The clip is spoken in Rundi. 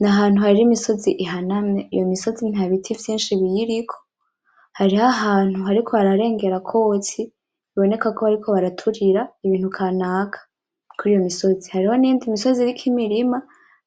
N'ahantu hari imisozi ihanamye. iyo misozi nta biti vyinshi biyiriko, hariho ahantu hariko hararengera akotsi biboneka ko bariko baraturira Ibintu kanaka kuriyo misozi, hariho n'iyindi misozi iriko Imirima